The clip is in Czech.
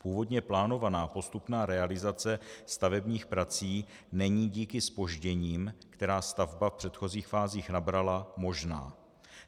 Původně plánovaná postupná realizace stavebních prací není díky zpožděním, která stavba v předchozích fázích nabrala, možná.